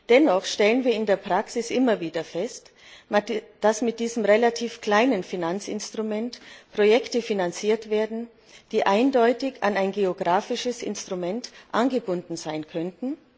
Dennoch stellen wir in der Praxis immer wieder fest, dass mit diesem relativ kleinen Finanzinstrument Projekte finanziert werden, die eindeutig an ein geografisches Instrument angebunden sein könnten.